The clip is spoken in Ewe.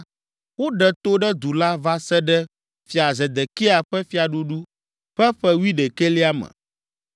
Woɖe to ɖe du la va se ɖe fia Zedekia ƒe fiaɖuɖu ƒe ƒe wuiɖekɛlia me.